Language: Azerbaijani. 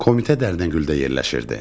Komitə Dərnəgüldə yerləşirdi.